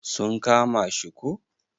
Sun kama shi ko?